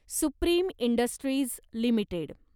supreme Industries limited